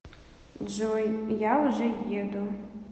джой я уже еду